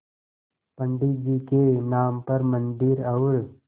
पंडित जी के नाम पर मन्दिर और